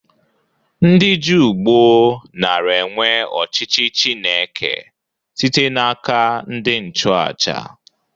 Ndị Juu gboo nara enwe ọchịchị Chineke site n'aka ndị nchụ aja.